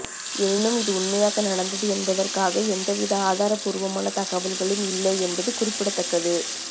எனினும் இது உண்மையாக நடந்தது என்பதற்காக எந்தவித ஆதார பூர்வமான தகவல்களும் இல்லை என்பது குறிப்பிடத்தக்கது